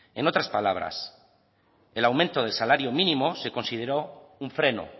en otras palabras el aumento del salario mínimo se consideró un freno